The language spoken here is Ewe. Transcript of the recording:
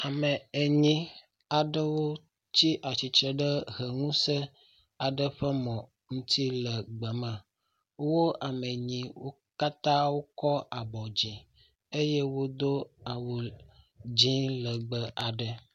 Ame enyi aɖewo tsi atsitre ɖe heŋusẽ ƒe mɔ aɖe ŋuti le gbe me. Wo ame enyi wo katã wokɔ abɔ dzi eye wodo awu dzɛ̃ legbẽ aɖe.